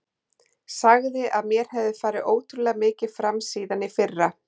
Sagði að mér hefði farið ótrúlega mikið fram síðan í fyrra.